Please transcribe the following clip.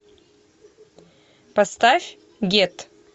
поставь гет